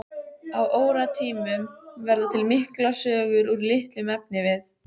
Á óróatímum verða til miklar sögur úr litlum efnivið.